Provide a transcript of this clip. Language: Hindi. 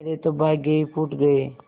मेरे तो भाग्य ही फूट गये